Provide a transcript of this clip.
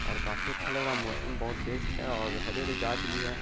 और काफी अच्छा लग रहा है मौसम बहुत बेस्ट है और हरे-हरे गाछ भी है।